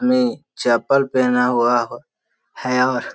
मी चप्पल पेहना हुआ है और --